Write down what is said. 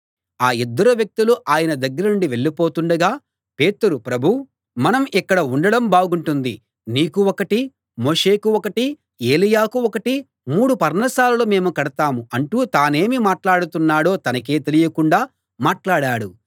ఆ ఇద్దరు వ్యక్తులూ ఆయన దగ్గర నుండి వెళ్ళిపోతుండగా పేతురు ప్రభూ మనం ఇక్కడ ఉండడం బాగుంటుంది నీకు ఒకటీ మోషేకు ఒకటీ ఏలీయాకు ఒకటీ మూడు పర్ణశాలలు మేము కడతాం అంటూ తానేమి మాట్లాడుతున్నాడో తనకే తెలియకుండా మాట్లాడాడు